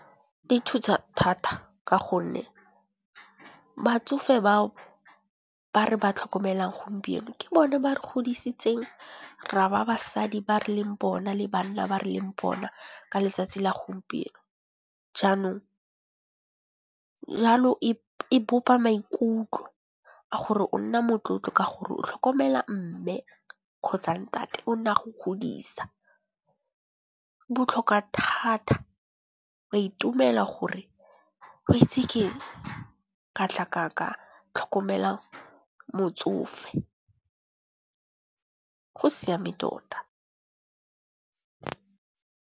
Di thusa thata ka gonne batsofe bao ba re ba tlhokomelang gompieno ke bone ba re godisitseng ra ba basadi ba re leng bona le banna ba re leng bona ka letsatsi la gompieno. Jalo e bopa maikutlo a gore o nna motlotlo ka gore o tlhokomela Mme kgotsa Ntate o ne a go godisa. Botlhokwa thata wa itumela gore weitse keng katla ka tlhokomela motsofe go siame tota.